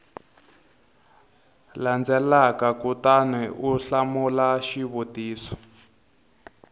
landzelaka kutani u hlamula xivutiso